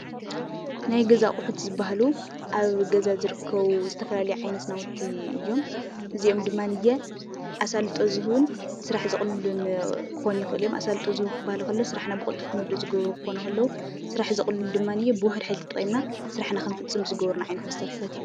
ናይ ገዛ ኣቑሑ ዝበሃሉ ኣብ ገዛ ዝርከቡ ዝተፈላለዩ ዓይነት ናውቲ እዮም፡፡ እዚኦ ድማ ኣሳልጦ ዝህቡን ስራሕ ዘቕልሉን ክኾኑ ይኽእሉ እዮም፡፡ ኣሳልጦ ዝህቡ ክበሃሉ ከለዉ ስራሕና ብቕልጡም ክንውድእ ዝገብሩ ክኾኑ ከለዉ ስራሕ ዘቕልሉ ድማ ብውሑድ ሓይሊ ተጠቒምና ስራሕና ክንፍፅም ዝገብርና ዓይነት መሳርሕታት እዮም፡፡